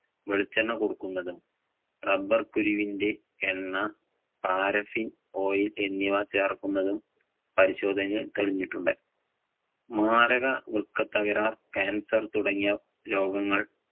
വെളിച്ചെണ്ണകൊടുക്കുന്നതും rubber കുരുവിന്‍റെ എണ്ണ paraffin oil എന്നിവ ചേർക്കുന്നതും പരിശോധനയിൽ തെളിഞ്ഞിട്ടുണ്ട്. മാരക വൃക്ക തകരാർ, cancer തുടങ്ങിയ രോഗങ്ങൾ